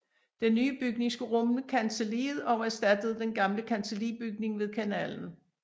Den nye bygning skulle rumme kancelliet og erstattede den gamle kancellibygning ved kanalen